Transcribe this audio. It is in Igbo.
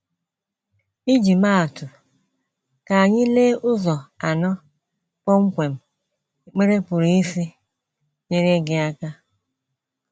Iji maa atụ, ka anyị lee ụzọ anọ kpọmkwem ekpere pụrụ isi nyere gị aka.